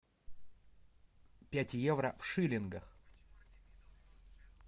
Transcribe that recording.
пять евро в шиллингах